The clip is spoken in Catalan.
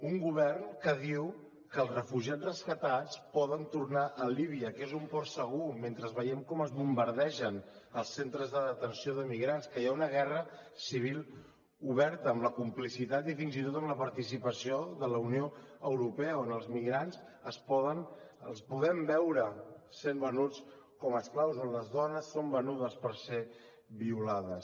un govern que diu que els refugiats rescatats poden tornar a líbia que és un port segur mentre veiem com es bombardegen els centres de detenció de migrants que hi ha una guerra civil oberta amb la complicitat i fins i tot amb la participació de la unió europea on els migrants els podem veure sent venuts com a esclaus on les dones són venudes per ser violades